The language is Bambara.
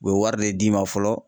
U bɛ wari de d'i ma fɔlɔ